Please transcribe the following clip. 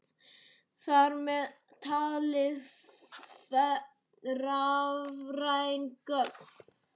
Þar með talið rafræn gögn.